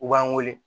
U b'an wele